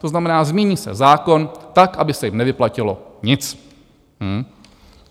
To znamená, změní se zákon tak, aby se jim nevyplatilo nic.